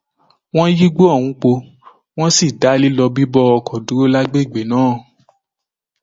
wọn yígbọ ohùn po wọn sì da lílọ bíbọ ọkọ dúró lágbègbè náà